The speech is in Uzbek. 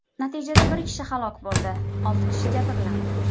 Natijada bir kishi halok bo‘ldi, olti kishi jabrlandi.